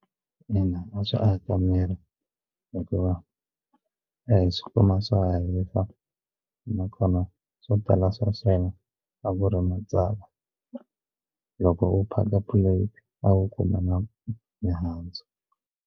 Ina, a swi aka miri hikuva a hi swi kuma swa ha hisa nakona swo tala swa swona a ku ri matsava loko u phaka plate a wu kuma na mihandzu.